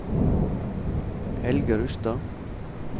Helge Rustad